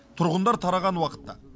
тұрғындар тараған уақытта